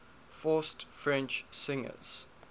forced french singers